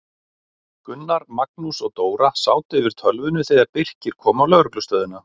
Gunnar, Magnús og Dóra sátu yfir tölvunni þegar Birkir kom á lögreglustöðina.